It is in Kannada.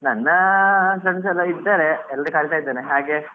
ನನ್ನ friends ಎಲ್ಲಾ ಇದ್ದಾರೆ ಎಲ್ಲರಿಗೆ ಕರಿತಾ ಇದ್ದೇನೆ ಹಾಗೆ.